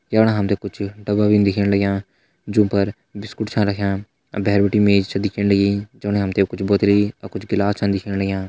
जफणा हमते कुछ डब्बा भी दिखेण लगयां जूं पर बिस्कुट छा रख्यां अर भैर बिटि मेज छ दिखेण लगी जमना हमते कुछ बोतली अर कुछ गिलास छन दिखेण लगयां।